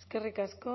eskerrik asko